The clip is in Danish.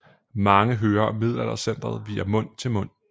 Mange hører om Middelaldercentret via mund til mund